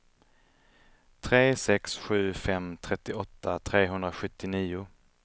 tre sex sju fem trettioåtta trehundrasjuttionio